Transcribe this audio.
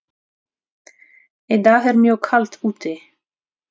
Í dag er mjög kalt úti.